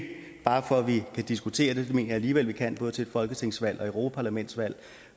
bare for at vi kan diskutere det det mener jeg alligevel vi kan både til et folketingsvalg og europaparlamentsvalg